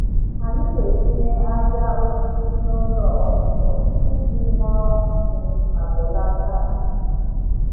Anyị na-etinye ájá osisi n’ụlọ ọkụkọ iji ṅụọ nsị ma belata isi ísì.